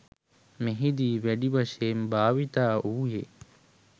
මෙහිදී වැඩි වශයෙන්ම භාවිත වූයේ